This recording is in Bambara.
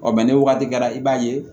ni wagati kɛra i b'a ye